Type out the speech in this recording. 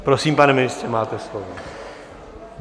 Prosím, pane ministře, máte slovo.